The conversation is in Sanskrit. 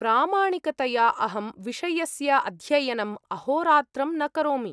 प्रामाणिकतया, अहं विषयस्य अध्ययनम् अहोरात्रं न करोमि।